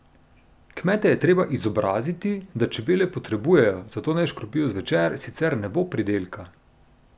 Kmete je treba izobraziti, da čebele potrebujejo, zato naj škropijo zvečer, sicer ne bo pridelka.